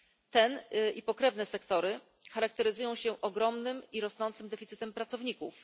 Ten i pokrewne sektory charakteryzują się ogromnym i rosnącym deficytem pracowników.